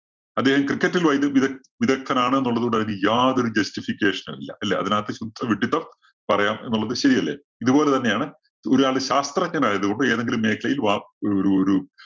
അദ്ദേഹം cricket ല്‍ വൈദഗ്ദ്ധൃ വിദ~വിദഗ്ദ്ധനാണ് എന്നുള്ളത് കൊണ്ട് അതിനു യാതൊരു justification ഉം ഇല്ല. അല്ലേ? അതിനകത്ത് ശുദ്ധ വിഡ്ഢിത്തം പറയാം എന്നുള്ളത് ശരിയല്ലേ? ഇതുപോലെ തന്നെയാണ് ഒരാള് ശാസ്ത്രജ്ഞനായത് കൊണ്ട് എതെങ്കിലും മേഖലയില്‍ വാ ഒരു, ഒരു, ഒരു